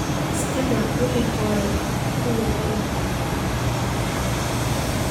Iska daa wax aan horey kuu wadiin.